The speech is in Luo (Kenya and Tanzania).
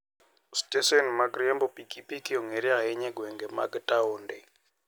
Stesen mag riembo pikipiki ong'ere ahinya e gwenge mag taonde.